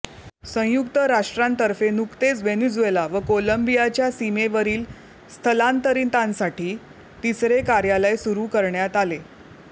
संयुक्त राष्ट्रांतर्फे नुकतेच व्हेनेझुएला व कोलंबियाच्या सीमेवरील स्थलांतरितांसाठी तिसरे कार्यालय सुरू करण्यात आले